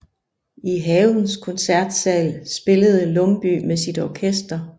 I havens koncertsal spillede Lumbye med sit orkester